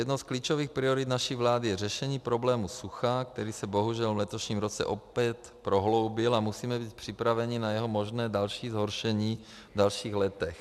Jednou z klíčových priorit naší vlády je řešení problému sucha, který se bohužel v letošním roce opět prohloubil, a musíme být připraveni na jeho možné další zhoršení v dalších letech.